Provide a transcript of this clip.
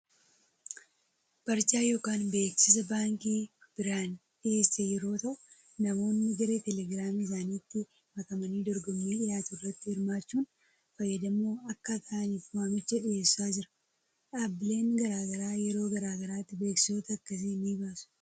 Barjaa yookaan beeksisa baankiin Birhaan dhiyeesse yeroo ta'u namoonni garee teelegiraamii isaaniitti makamanii dorgommii dhiyaatu irratti hirmaachuun fayyadamoo akka ta’aniif waamicha dhiyeessaa jira. Dhaabbileen gara garaa yeroo gara garaatti beeksisoota akkasii ni baasu.